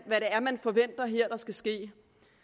her forventer skal ske